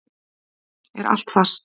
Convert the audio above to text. Er allt fast?